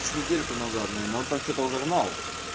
с недельку назад он так что-то уже гнал